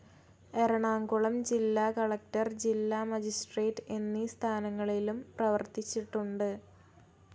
എറണാംകുളം ജില്ലാകലക്ടർ, ജില്ലാ മജിസ്ട്രേറ്റ്‌ എന്നീ സ്ഥാനങ്ങളിലും പ്രവർത്തിച്ചിട്ടുണ്ട്.